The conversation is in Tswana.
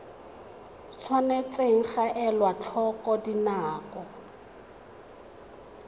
tshwanetse ga elwa tlhoko dinako